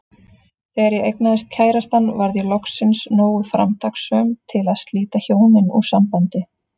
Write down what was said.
Þegar ég eignaðist kærastann varð ég loksins nógu framtakssöm til að slíta hjónin úr sambandi.